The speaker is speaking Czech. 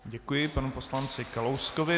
Děkuji panu poslanci Kalouskovi.